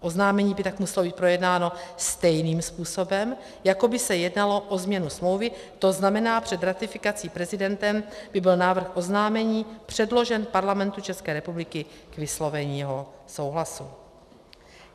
Oznámení by tak muselo být projednáno stejným způsobem, jako by se jednalo o změnu smlouvy, to znamená, před ratifikací prezidentem by byl návrh oznámení předložen Parlamentu České republiky k vyslovení jeho souhlasu.